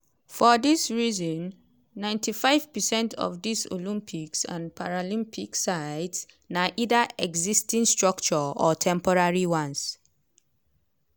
for dis reason 95 percent of di olympic and paralympic sites na either existing structures or temporary ones.